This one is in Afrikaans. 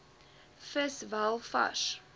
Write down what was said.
vis wel vars